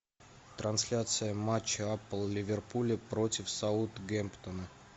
трансляция матча апл ливерпуля против саутгемптона